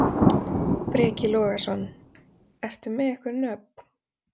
Breki Logason: Ertu með einhver nöfn?